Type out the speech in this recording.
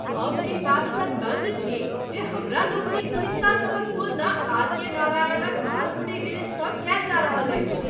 हम एहि बातसँ दङ्ग छी जे हमरा लोकनिक खिस्सा सभक तुलना आर.के. नारायणक मालगुडी डेजसँ कएल जा रहल अछि!